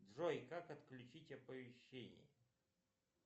джой как отключить оповещения